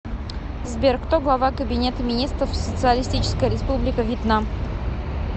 сбер кто глава кабинета министров социалистическая республика вьетнам